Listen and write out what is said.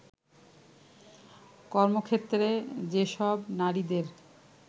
কর্মক্ষেত্রে যেসব নারীদের